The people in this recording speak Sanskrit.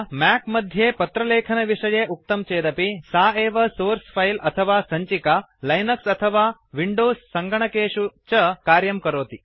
मया मैक मध्ये पत्रलेखनविषये उक्तं चेदपि सा एव सोर्स फिले अथवा सञ्चिका लिनक्स तथा विंडोज सङ्गणकेषु च कार्यं करोति